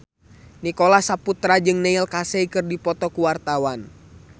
Nicholas Saputra jeung Neil Casey keur dipoto ku wartawan